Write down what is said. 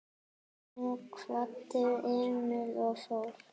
Hún kvaddi Emil og fór.